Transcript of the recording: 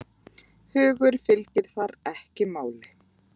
Hugur fylgir þar ekki máli.